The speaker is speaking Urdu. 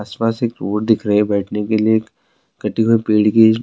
اسس پاسس ایک روڈ دکھ رہی ہے، بیٹھنے ک لئے پیڈ کی --